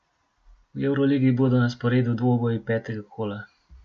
V evroligi bodo na sporedu dvoboji petega kola.